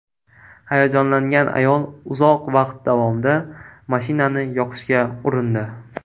Hayajonlangan ayol uzoq vaqt davomida mashinani yoqishga urindi.